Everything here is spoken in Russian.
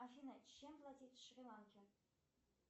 афина чем платить в шри ланке